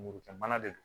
Lemurukumana de don